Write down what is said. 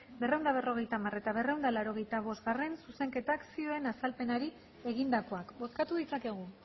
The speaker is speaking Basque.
laurehun eta berrogeita hamar eta laurehun eta laurogeita bostgarrena zuzenketak zioen azalpenari egindakoak bozkatu ditzakegu